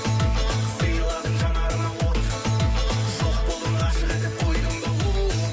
сыйладың жанарыма от жоқ болдың ғашық етіп қойдың да оу